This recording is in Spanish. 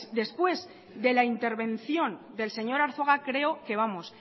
después de la intervención del señor arzuaga creo que vamos